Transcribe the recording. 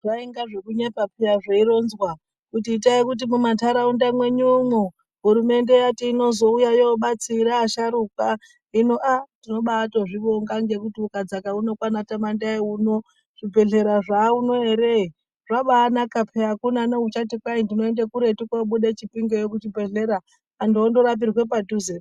Zvainga zvekunyepa peya zveironzwa kuti itai kuti mu manhtaraunda mwenyu mwo ,Hurumende yati inozouya yobatsira asharuka . Hino aaa tinotobaa zvibonga ngekuti ukadzaka unoo kwaanaTamandai uno zvibehlera zvaauno er zvabaanaka peya .akuna nouchati ndinoenda kuretu kobuda Chipingeyo kuchibhehlera. Anhtu ondo rapirwa padhuzepo .